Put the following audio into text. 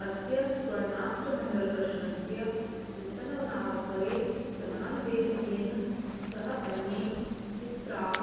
अस्य स्वर्णाष्टमङ्गलप्रश्नस्य चिन्तनावसरे प्रधानदैवज्ञेन सह अन्ये द्वित्राः